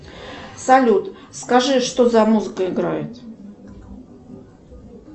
салют скажи что за музыка играет